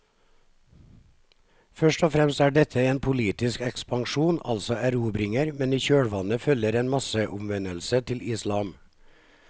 Først og fremst er dette en politisk ekspansjon, altså erobringer, men i kjølvannet følger en masseomvendelse til islam.